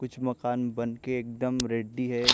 कुछ मकान बनके एकदम रेडी हैं।